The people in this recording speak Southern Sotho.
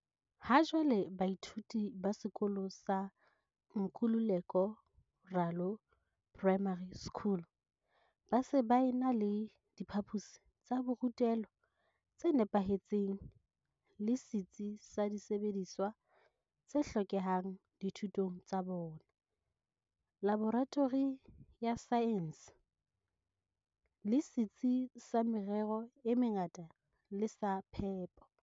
Hajwale baithuti ba sekolo sa Nkululeko Ralo Primary School ba se ba ena le diphaposi tsa borutelo tse nepahetseng le setsi sa disebediswa t se hlokehang dithutong tsa bona, laboratori ya saense, le setsi sa merero e mengata le sa phepo.